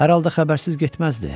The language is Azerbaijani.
Hər halda xəbərsiz getməzdi.